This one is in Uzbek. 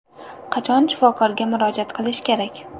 Qachon shifokorga murojaat qilish kerak?